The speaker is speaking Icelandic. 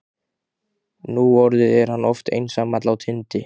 Núorðið er hann oft einsamall á tindi